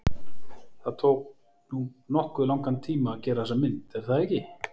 Það tók nú nokkuð langan tíma að gera þessa mynd er það ekki?